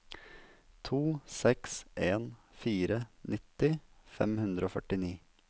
to seks en fire nitti fem hundre og førtini